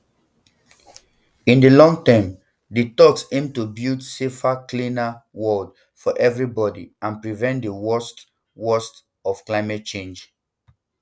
um in di longterm di talks aim to build a safer cleaner world for everybody and prevent di worst um worst um of climate change